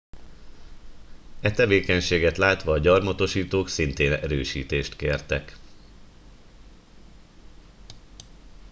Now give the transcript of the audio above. e tevékenységet látva a gyarmatosítók szintén erősítést kértek